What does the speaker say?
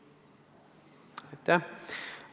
Aitäh!